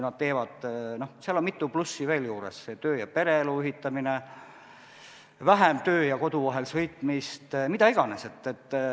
Seal on mitu plussi veel juures: töö- ja pereelu ühitamine, vähem töö ja kodu vahel sõitmist, mida iganes.